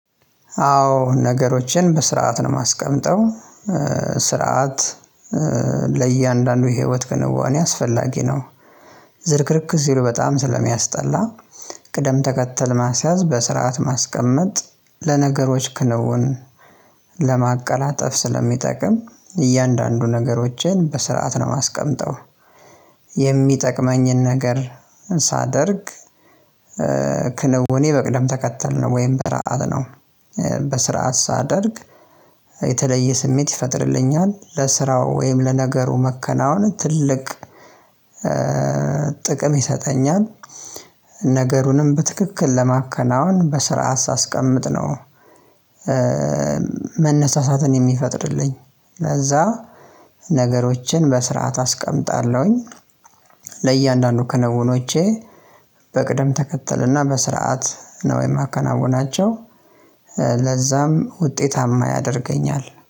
አዎ ነገሮችን በስርዓት ነው የማስቀምጠው ስርዓት ለእያንዳንዱ የህይወት ክንዋኔ አስፈላጊ ነው ዝርክርክ ሲሉ በጣም ስለሚያስጠላ ቅደም ተከተል ማስያዝ በስርዓት ማስቀመጥ ለነገሮች ክለቡን ለማቀላጠፍ ስለሚጠቅም እያንዳንዱ ነገሮችን በስርዓት ነው ማስቀመጠው የሚጠቅመኝን ነገር ሳደርግ ክንውኔ በቅደም ተከተል ነው ወይም በስርዓት ነው። በስርዓት ሳደርግ የተለየ ስሜት ይፈጥርልኛል። ለስራው ወይም ለነገሩ መከናወን ትልቅ ጥቅም ይሰጠኛል። ነገሩንም በትክክል ለማከናወን በስርዓት ሳስቀምጥ ነው መነሳሳትን የሚፈጥርልኝ ለዛ ነገሮችን በስርዓት አስቀምጣለሁኝ። ለእያንዳንዱ ክንውኖቼ በቅደም ተከተልና በስርዓት ነው የማከናውናቸው። ለዛም ውጤታማ ያደርገኛል።